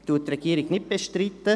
Die Regierung bestreitet dies nicht.